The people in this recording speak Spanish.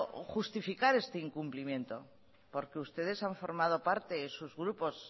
justificar este incumplimiento porque ustedes han formado parte sus grupos